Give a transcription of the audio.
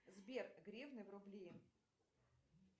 сбер гривны в рубли